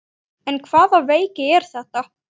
En hvaða veiki er þetta?